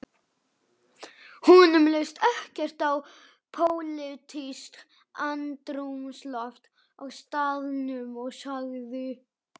Honum leist ekkert á pólitískt andrúmsloft á staðnum og sagði